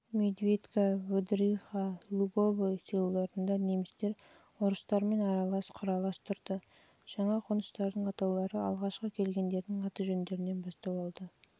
медведка выдриха луговой селоларында немістер орыстармен аралас-құралас тұрды жаңа қоныстардың атаулары алғашқы келгендердің аты-жөндерінен бастау алды